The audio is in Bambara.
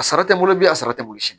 A sara tɛ n bolo bilen a sara tɛ bolo sini